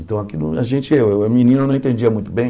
Então, aquilo a gente, eu, eu menino, não entendia muito bem